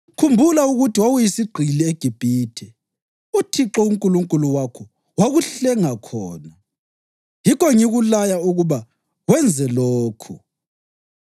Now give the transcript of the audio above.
Khumbula ukuthi wawuyisigqili eGibhithe uThixo uNkulunkulu wakho wakuhlenga khona. Yikho ngikulaya ukuba wenze lokhu.